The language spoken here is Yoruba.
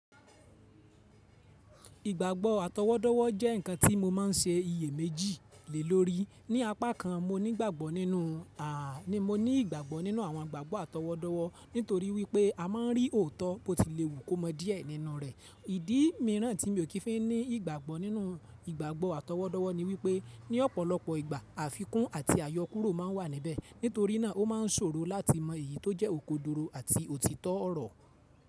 Ìgbàgbọ́ àtọwọ́dọ́wọ́ jẹ́ ǹkan tí mo máa n ṣe iye méjì lé lórí. Ní apá kan, mo ní ìgbàgbọ́ nínú, ni mo ní ìgbàgbọ́ nínú àwọn ìgbàgbọ́ àtọwọ́dọ́wọ́ nítorí wípé a máa n rí òótọ́ bó ti léwu kó mọ díẹ̀ nínú rẹ̀. Ìdí mìíràn tí mi ò kí n fí ní ìgbàgbọ́ nínú ìgbàgbọ́ àtọwọ́dọ́wọ́ ni wípé ní ọ̀pọ̀lọpọ̀ ìgbà àfikún àti àyọkúrò máa n wà níbẹ̀, nítorí náà ó ma n ṣòro láti mọ èyí tó jẹ́ okòdoro àti òtítọ́ ọ̀rọ̀.